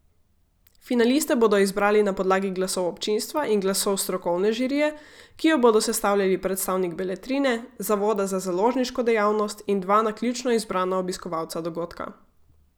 Finaliste bodo izbrali na podlagi glasov občinstva in glasov strokovne žirije, ki jo bodo sestavljali predstavnik Beletrine, zavoda za založniško dejavnost, in dva naključno izbrana obiskovalca dogodka.